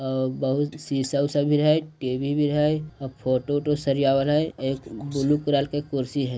अ बहुत शीशा-उसा भी हय टी_बी भी हय अ फोटो वोटो - सरीआवल हई एक ब्लू कलर के कुर्सी हई।